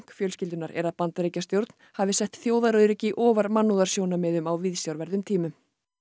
fjölskyldunnar er að Bandaríkjastjórn hafi sett þjóðaröryggi ofar mannúðarsjónarmiðum á viðsjárverðum tímum